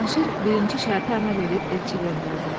Cavanşir birinci şərtə əməl edib elçi göndərdi.